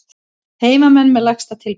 Heimamenn með lægsta tilboð